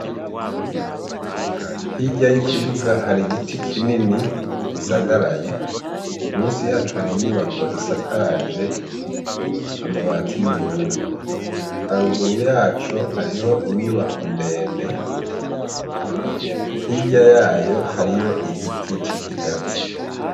Hirya y’ikibuga hari igiti kinini gisagaraye, munsi yaco hari inyubako isakaje amabati y’ubururu, haruguru yaco hariho inyubako ndende hirya yayo hariho igiti c’ikigazi.